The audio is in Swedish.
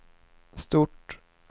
stort